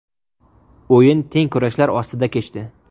O‘yin teng kurashlar ostida kechdi .